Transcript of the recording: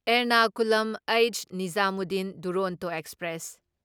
ꯑꯦꯔꯅꯀꯨꯂꯝ ꯍꯩꯠꯁ.ꯅꯤꯓꯥꯃꯨꯗꯗꯤꯟ ꯗꯨꯔꯣꯟꯇꯣ ꯑꯦꯛꯁꯄ꯭ꯔꯦꯁ